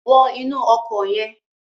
Wọ inú ọkọ̀ yẹn.